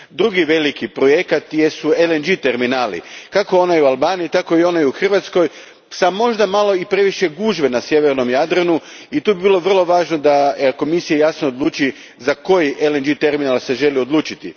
Drugi veliki projekt su LNG terminali, kako onaj u Albaniji tako i onaj u Hrvatskoj, s možda malo previše gužve na sjevernom Jadranu, i tu bi bilo vrlo važno da Komisija jasno odluči za koji se LNG terminal želi odlučiti.